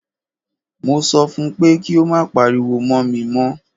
Mo sọ fún pé kí o má pariwo mọ́ mi mọ́!